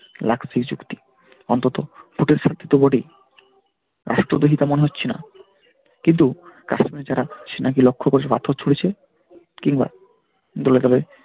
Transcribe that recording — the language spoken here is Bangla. সেই চুক্তি অন্তত ওদের সাথে তো বটেই দেখে তা মনে হচ্ছে না কিন্তু কাশ্মীরে যারা সেনাকে লক্ষ্য করে পাথর ছুড়েছে কিংবা